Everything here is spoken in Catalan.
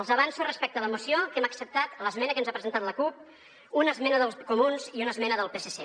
els avanço respecte a la moció que hem acceptat l’esmena que ens ha presentat la cup una esmena dels comuns i una esmena del psc